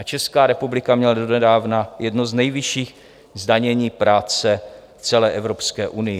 A Česká republika měla donedávna jedno z nejvyšších zdanění práce v celé Evropské unii.